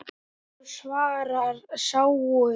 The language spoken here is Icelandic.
Já, svarar Sæunn.